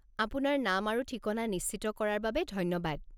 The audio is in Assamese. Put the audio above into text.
আপোনাৰ নাম আৰু ঠিকনা নিশ্চিত কৰাৰ বাবে ধন্যবাদ।